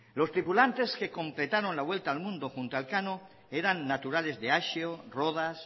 los tripulantes que completaron la vuelta al mundo junto a elcano eran naturales de axeo rodas